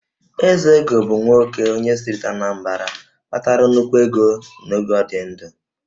Ezego bụ nwoke onye steeti Anambra kpatara nnukwu ego n'oge ọ dị ndụ